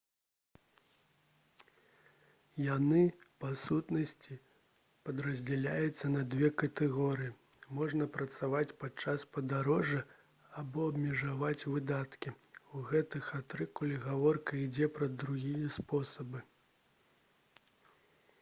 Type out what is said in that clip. яны па сутнасці падраздзяляюцца на дзве катэгорыі можна працаваць падчас падарожжа або абмежаваць выдаткі у гэтым артыкуле гаворка ідзе пра другі спосаб